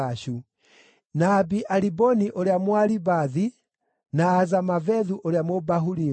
na Abi-Aliboni ũrĩa Mũaribathi, na Azamavethu ũrĩa Mũbahurimu,